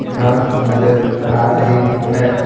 घास नजर आ रही है।